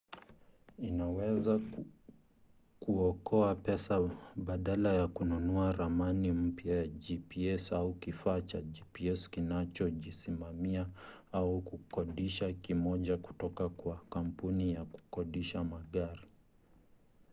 inaweza kuokoa pesa badala ya kununua ramani mpya za gps au kifaa cha gps kinachojisimamia au kukodisha kimoja kutoka kwa kampuni ya kukodisha magari